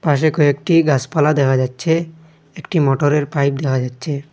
পাশে কয়েকটি গাসপালা দেখা যাচ্ছে একটি মটরের পাইপ দেখা যাচ্ছে।